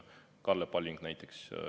Kalle Palling näiteks.